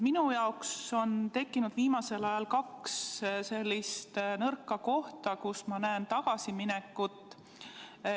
Minu jaoks on viimasel ajal tekkinud kaks nõrka kohta, kus ma näen tagasiminekut.